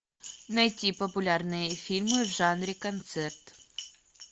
найти популярные фильмы в жанре концерт